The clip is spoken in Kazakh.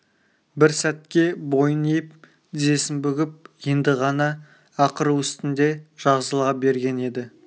бір сәтке бойын иіп тізесін бүгіп енді ғана ақыру үстінде жазыла берген еді